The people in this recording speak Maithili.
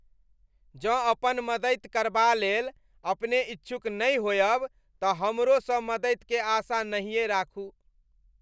जँ अपन मदति करबालेल अपने इच्छुक नहि होयब तँ हमरोसँ मदतिके आशा नहिए राखू।